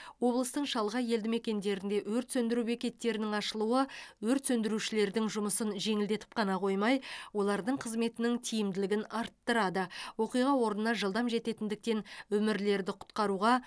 облыстың шалғай елді мекендерінде өрт сөндіру бекеттерінің ашылуы өрт сөндірушілердің жұмысын жеңілдетіп қана қоймай олардың қызметінің тиімділігін арттырады оқиға орнына жылдам жететіндіктен өмірлерді құтқаруға